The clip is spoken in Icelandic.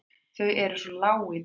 Þau eru svo lág í dag.